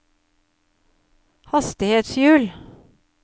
hastighetshjul